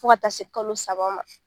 Fɔ ka taa se kalo saba ma.